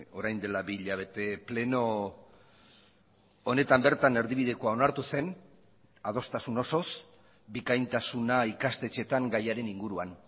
orain dela bi hilabete pleno honetan bertan erdibidekoa onartu zen adostasun osoz bikaintasuna ikastetxeetan gaiaren inguruan